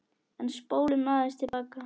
En spólum aðeins til baka.